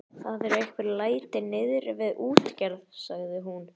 Það eru einhver læti niðri við útgerð, sagði hún.